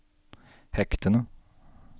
hektene